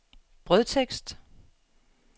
brødtekst